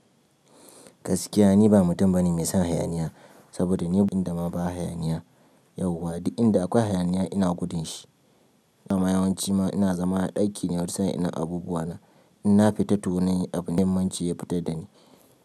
Gaskiya ni ba mutum bane mai son hayaniya, saboda ni inda ma ba hayaniya yauwa, duk inda akwai hayaniya ina gudun shi. A ma yawanci ma ina zama a ɗaki ne wani sa'in ina abubuwa na. In na fita to wani abu mai muhimmaci ne ya fitar dani.